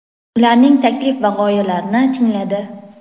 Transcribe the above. ularning taklif va g‘oyalarini tingladi.